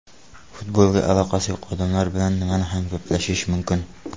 Futbolga aloqasi yo‘q odamlar bilan nimani ham gaplashish mumkin?